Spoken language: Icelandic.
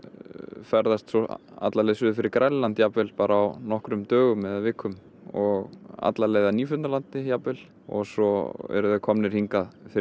ferðast svo alla leið suður fyrir Grænland jafnvel bara á nokkrum dögum eða vikum um og alla leið að Nýfundnalandi jafnvel og svo eru þeir komnir hingað fyrir